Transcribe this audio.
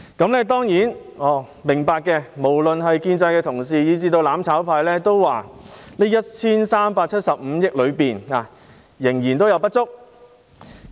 我們當然明白，無論是建制派的同事以至"攬炒派"均認為這 1,375 億元仍然有不足之處。